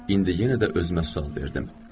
İndi yenə də özümə sual verdim.